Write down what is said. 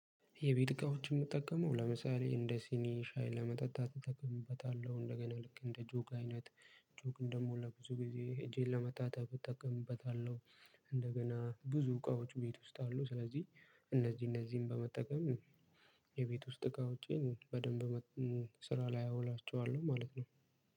የቤት እቃዎችን የምጠቀመው ለምሳሌ እንደ ሲኒ ሻይ ለመጠጣት እጠቀምበታለሁ እንደገና ልክ እንደ ጆግ አይነት ጆግ እንደሞላ ብዙ ጊዜ እጄን ለመታጠብ እጠቀምበታለሁ። እንደገና ብዙ እቃዎች ቤት ውስጥ አሉ ስለዚህ እነዚህ እነዚህን በመጠቀም የቤት ውስጥ እቃዎቼን በደንብ ስራ ላይ አውላቸዋለሁ። ማለት ነው።